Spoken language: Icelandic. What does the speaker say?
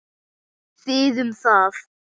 Þið um það!